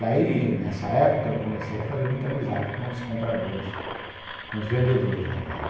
Daí, nessa época, eu comecei a fazer muita amizade com os compradores, com os vendedores, aliás.